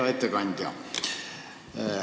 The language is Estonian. Hea ettekandja!